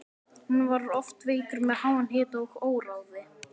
Hann var oft veikur með háan hita og óráði.